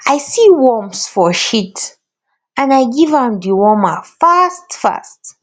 i see worms for shit and i give am dewormer fast fast